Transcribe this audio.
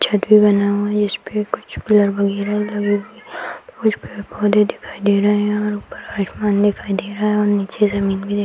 छत भी बना हुआ है जिसपे कुछ कलर वगैरह लगे हुए हैं | कुछ पेड़ पौधे दिखाई दे रहा है और ऊपर आसमान दिखाई दे रहा है और निचे जमींन भी दिख --